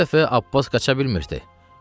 Bu dəfə Abbas qaça bilmirdi.